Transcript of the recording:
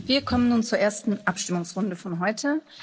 Wir kommen nun zur ersten Abstimmungsrunde für heute.